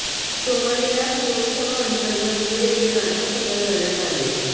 सोमवारी याच महोत्सवांतर्गत धुळे येथे नाटक सादर करण्यात आले